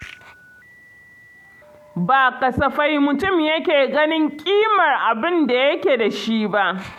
Ba kasafai mutum yake ganin ƙimar abin da yake da shi ba.